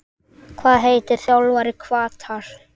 Hvað heitir þjálfari Hvatar?